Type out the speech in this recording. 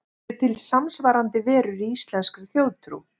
Eru til samsvarandi verur í íslenskri þjóðtrú?